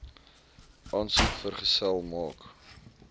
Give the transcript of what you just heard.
aansoek vergesel maak